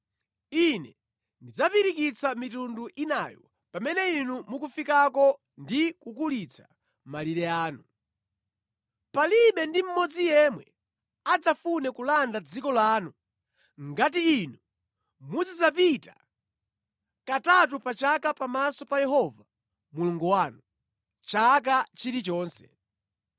Ine ndidzapirikitsa mitundu inayo pamene inu mukufikako ndi kukulitsa malire anu. Palibe ndi mmodzi yemwe adzafune kulanda dziko lanu ngati inu muzidzapita katatu pa chaka pamaso pa Yehova Mulungu wanu, chaka chilichonse.